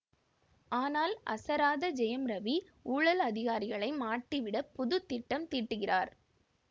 ஆனால் அசராத ஜெயம் ரவி ஊழல் அதிகாரிகளை மாட்டிவிட புது திட்டம் தீட்டுகிறார்